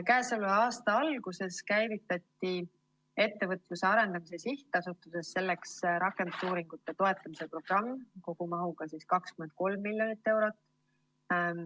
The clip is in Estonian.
Käesoleva aasta alguses käivitati Ettevõtluse Arendamise Sihtasutuses selleks rakendusuuringute toetamise programm kogumahuga 23 miljonit eurot.